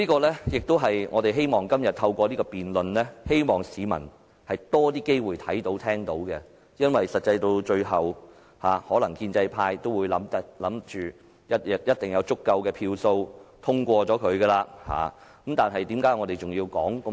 這亦是我們希望能透過今天的辯論，讓市民有多些機會看到和聽到的，因為最終建制派可能認為一定會有足夠票數通過議案，但為何我們仍要說這麼多？